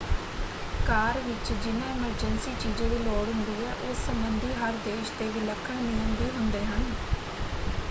ਕਾਰ ਵਿੱਚ ਜਿਨ੍ਹਾਂ ਐਮਰਜੈਂਸੀ ਚੀਜ਼ਾਂ ਦੀ ਲੋੜ ਹੁੰਦੀ ਹੈ ਉਸ ਸੰਬੰਧੀ ਹਰ ਦੇਸ਼ ਦੇ ਵਿਲੱਖਣ ਨਿਯਮ ਵੀ ਹੁੰਦੇ ਹਨ।